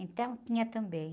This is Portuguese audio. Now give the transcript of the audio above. Então, tinha também.